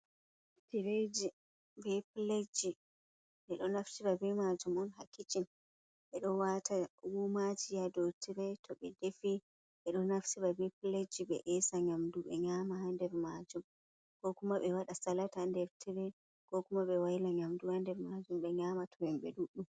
"Tireji be piletji" ɓeɗo naftira ɓe majum on ha kicin ɓeɗo wata wumaji ha dou tire to ɓe defi ɓeɗo naftira be piletji ɓe esa nyamdu be nyama ha nder majum ko kuma ɓe waɗa salat nder tire ko kuma be waila nyamdu ha nder majum be nyama to himɓe ɗuɗɗum.